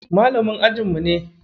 Malamin ajinmu ne.